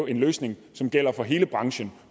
en løsning som gælder for hele branchen